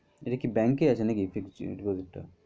এটা কি bank এ আছে নাকি? fixed deposit টা